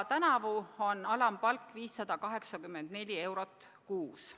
Tänavu on alampalk 584 eurot kuus.